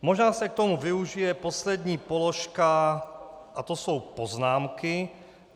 Možná se k tomu využije poslední položka a to jsou poznámky.